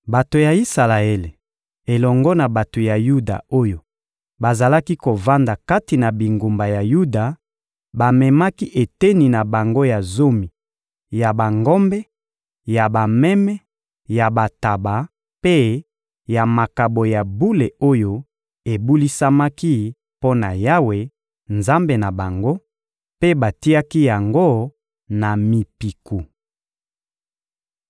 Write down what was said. Bato ya Isalaele elongo na bato ya Yuda oyo bazalaki kovanda kati na bingumba ya Yuda bamemaki eteni na bango ya zomi ya bangombe, ya bameme, ya bantaba mpe ya makabo ya bule oyo ebulisamaki mpo na Yawe, Nzambe na bango, mpe batiaki yango na mipiku.